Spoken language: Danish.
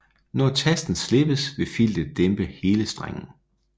Når tasten slippes vil filtet dæmpe hele strengen